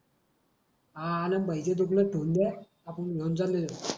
हा आनंद भाई च्या दुकानात ठेवून द्या आपण घेऊन जाऊ